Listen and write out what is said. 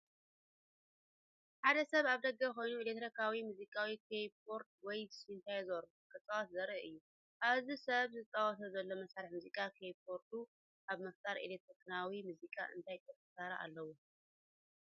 ሓደ ሰብ ኣብ ደገ ኮይኑ ኤሌክትሮኒካዊ ሙዚቃዊ ኪቦርድ ወይ ሲንተሳይዘር ክጻወት ዘርኢ እዩ። እዚ ሰብ ዝጻወቶ ዘሎ መሳርሒ ሙዚቃ (ኪቦርድ) ኣብ ምፍጣር ኤሌክትሮኒካዊ ሙዚቃ እንታይ ቁልፊ ተራ ኣለዎ?